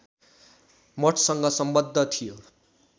मठसँग सम्बद्ध थियो